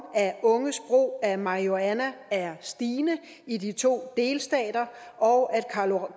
at unges brug af marihuana er stigende i de to delstater og at